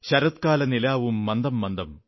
ശരത്കാലനിലാവും മന്ദമന്ദം